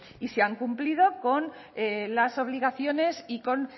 y se han cumplido con las obligaciones y con